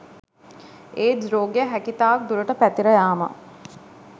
AIDS රෝගය හැකිතාක් දුරට පැතිර යාම